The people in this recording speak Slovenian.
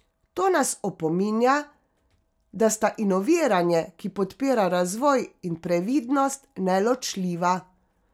To nas opominja, da sta inoviranje, ki podpira razvoj, in previdnost neločljiva.